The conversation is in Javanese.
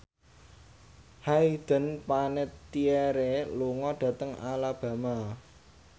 Hayden Panettiere lunga dhateng Alabama